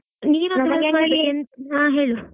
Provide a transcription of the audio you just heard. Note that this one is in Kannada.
ಹಾ ಹೇಳು.